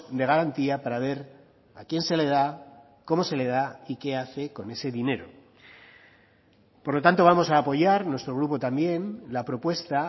de garantía para ver a quién se le da cómo se le da y qué hace con ese dinero por lo tanto vamos a apoyar nuestro grupo también la propuesta